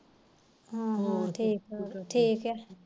ਹਾ ਠੀਕ ਠੀਕੇ